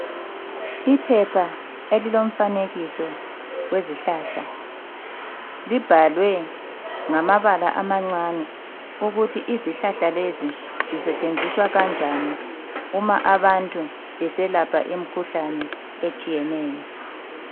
Iphepha elilomfanekiso wezihlahla libhalwe ngamabala amancane ukuthi izihlahla lezi zisetshenziswa kanjani uma abantu beselapha imikhuhlane etshiyeneyo